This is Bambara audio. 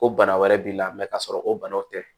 Ko bana wɛrɛ b'i la ka sɔrɔ o banaw tɛ